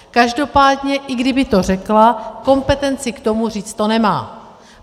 Každopádně i kdyby to řekla, kompetenci k tomu říct to nemá.